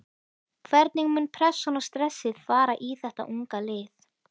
Hvernig mun pressan og stressið fara í þetta unga lið?